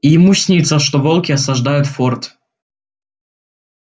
и ему снится что волки осаждают форт